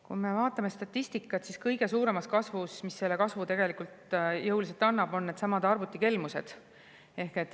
Kui me vaatame statistikat, siis kõige suurem, mis tegelikult jõuliselt kasvatab, on needsamad arvutikelmused.